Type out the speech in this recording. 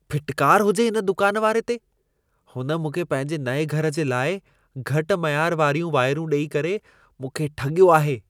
फिटकार हुजे हिन दुकान वारे खे। हुन मूंखे पंहिंजे नएं घर जे लाइ घटि मयार वारियूं वाइरूं ॾई करे, मूंखे ठॻियो आहे।